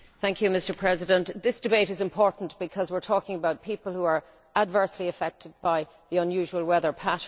MrPresident, this debate is important because we are talking about people who are being adversely affected by the unusual weather patterns.